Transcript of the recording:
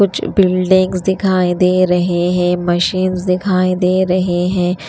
कुछ बिल्डिंग दिखाई दे रहे हैं मशीन्स दिखाएं दे रहे हैं।